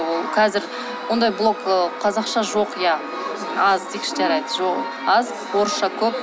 ол қазір ондай блог ы қазақша жоқ иә аз дейікші жарайды аз орысша көп